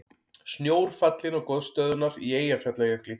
Snjór fallinn á gosstöðvarnar í Eyjafjallajökli